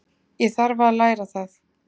Ég þarf að læra það.